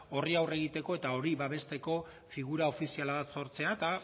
horri aurre egiteko eta hori babesteko figura ofizial bat sortzea eta